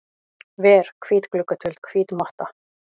ver, hvít gluggatjöld, hvít motta.